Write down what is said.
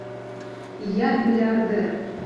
я миллиардер